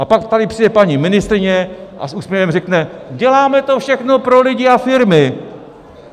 A pak tady přijde paní ministryně a s úsměvem řekne: "Děláme to všechno pro lidi a firmy."